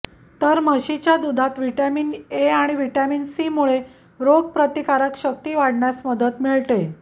तर म्हशीच्या दुधात व्हिटॉमीन ए आणि व्हिटॉमीन सी मुळे रोगप्रतिकारक शक्ती वाढण्यास मदत मिळते